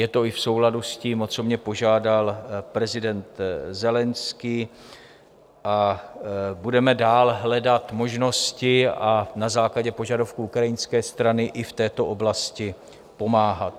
Je to i v souladu s tím, o co mě požádal prezident Zelenskyj, a budeme dál hledat možnosti a na základě požadavků ukrajinské strany i v této oblasti pomáhat.